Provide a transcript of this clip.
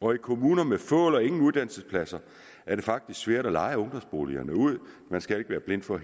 og i kommuner med få eller ingen uddannelsespladser er det faktisk svært at leje ungdomsboligerne ud man skal ikke være blind for